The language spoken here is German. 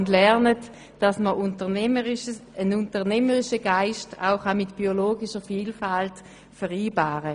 Sie lernen, dass ein unternehmerischer Geist auch mit biologischer Vielfalt vereinbar ist.